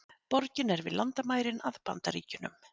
Borgin er við landamærin að Bandaríkjunum